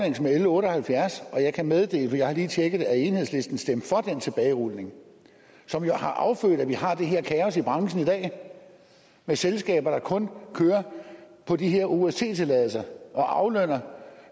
med l otte og halvfjerds og jeg kan meddele for jeg har lige tjekket det at enhedslisten stemte for den tilbagerulning som jo har affødt at vi har det her kaos i branchen i dag med selskaber der kun kører på de her ost tilladelser og aflønner